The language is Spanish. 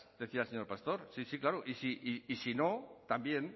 decía el señor pastor sí sí claro y si no también